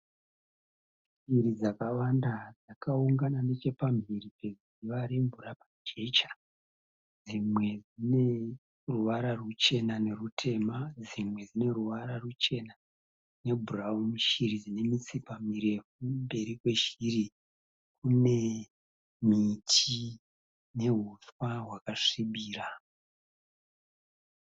Shiri dzakawanda dzakaungana nechepamhiri pedziva remvura mujecha. Dzimwe dzine ruvara ruchena nerutema, dzimwe dzine ruvara ruchena nebhurauni. Shiri dzine mitsipa mirefu. Mberi kweshiri kune miti nehuswa hwakasvibira.